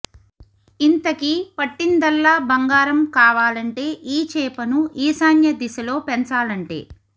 ఇంతకీ పట్టిందల్లా బంగారం కావాలంటే ఏ చేపను ఈశాన్య దిశలో పెంచాలంటే